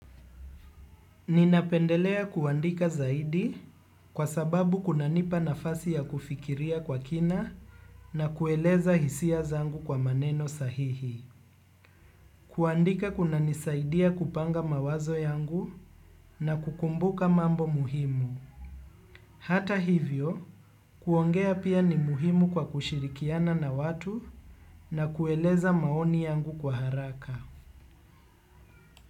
Ninapendelea kuandika zaidi kwa sababu kuna nipa nafasi ya kufikiria kwa kina na kueleza hisia zangu kwa maneno sahihi. Kuandika kuna nisaidia kupanga mawazo yangu na kukumbuka mambo muhimu. Hata hivyo, kuongea pia ni muhimu kwa kushirikiana na watu na kueleza maoni yangu kwa haraka.